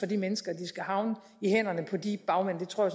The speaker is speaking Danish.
de mennesker at de skal havne i hænderne på de bagmænd det tror